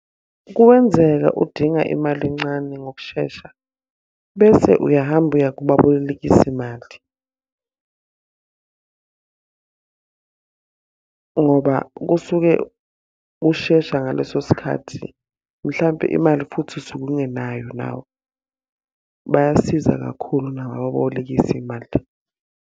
Kuwenzeka udinga imali encane ngokushesha, bese uyahamba uya kubabolekisi mali. Ngoba kusuke kushesha ngaleso sikhathi, mhlampe imali futhi usuke ungenayo nawe. Bayasiza kakhulu nabo ababolekisi mali.